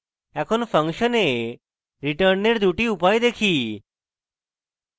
এখন ফাংশনে রিটার্নের দুটি উপায় দেখি